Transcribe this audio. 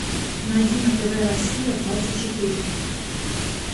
найди на тв россия двадцать четыре